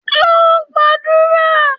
Lọ máa gbàdúrà!